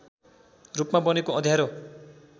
रूपमा बनेको अँध्यारो